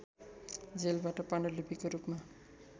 जेलबाट पाण्डुलिपिको रूपमा